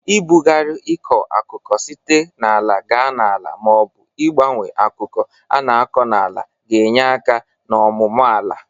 Ị bụgarị ịkọ akụkụ site n'ala ga n'ala ma ọ bụ ịgbanwe akụkụ a na-akọ n'ala ga-enye aka n'ọmụmụ ala.